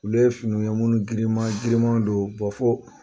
Ulu ye finiw ye minnu girinman girinman don fo